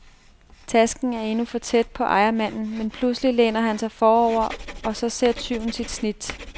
Tasken er endnu for tæt på ejermanden, men pludselig læner han sig forover, og så ser tyven sit snit.